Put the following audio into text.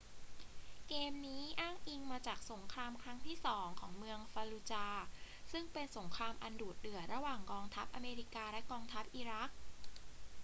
เกมนี้อ้างอิงมาจากสงครามครั้งที่สองของเมืองฟัลลูจาห์ซึ่งเป็นสงครามอันดุเดือดระหว่างกองทัพอเมริกาและกองทัพอิรัก